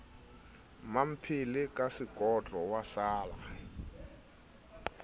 mmamphele ka sekotlo wa sala